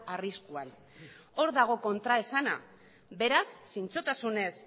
arriskuan hor dago kontraesana beraz zintzotasunez